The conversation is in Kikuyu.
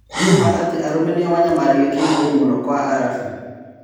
Nĩmaa atĩ arũme nĩo manyamaragio kĩmwĩri mũno Kwa-Arabu ?